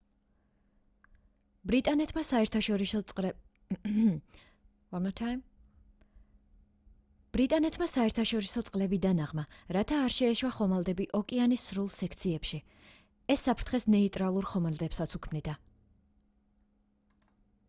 ბრიტანეთმა საერთაშორისო წყლები დანაღმა რათა არ შეეშვა ხომალდები ოკეანის სრულ სექციებში ეს საფრთხეს ნეიტრალურ ხომალდებსაც უქმნიდა